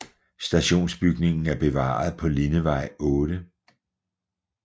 Stationsbygningen er bevaret på Lindevej 8